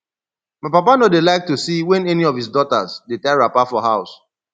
my papa no dey like to see wen any of his daughters dey tie wrapper for house